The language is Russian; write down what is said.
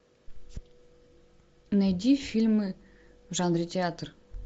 найди фильмы в жанре театр